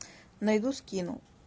найду скину